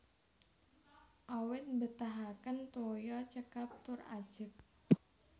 Awit mbetahaken toya cekap tur ajeg